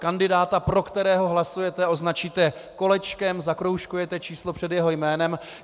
Kandidáta, pro kterého hlasujete, označíte kolečkem, zakroužkujete číslo před jeho jménem.